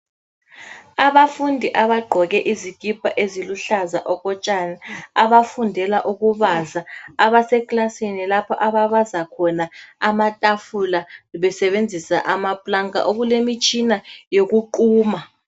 Abafundi abagqoke izikipa eziluhlaza okotshani, abafundela ukubaza, abasekilasini lapho ababaza khona amatafula besebenzisa amapulanka, okulemitshina yokuquma.